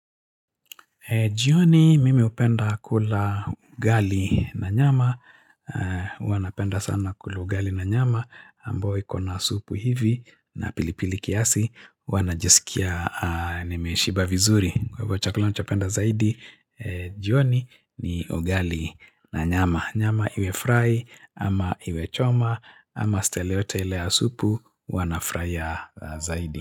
Jioni mimi hupenda kula ugali na nyama, huwa napenda sana kula ugali na nyama, ambayo iko na supu hivi na pilipili kiasi, huwa najisikia nimeshiba vizuri. Kwa hivyo chakula nachopenda zaidi, jioni ni ugali na nyama. Nyama iwe fry ama iwe choma ama stile yote ile ya supu, huwa na furahia zaidi.